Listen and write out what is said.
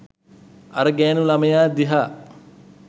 අර ගෑණු ළමයා දිහා